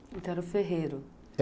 Então era o ferreiro.